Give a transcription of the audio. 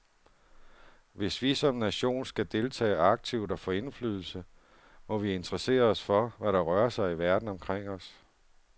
Hvis vi som nation skal deltage aktivt og få indflydelse, må vi interessere os for, hvad der rører sig i verden omkring os.